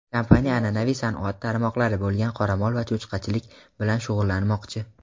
kompaniya an’anaviy sanoat tarmoqlari bo‘lgan qoramol va cho‘chqachilik bilan shug‘ullanmoqchi.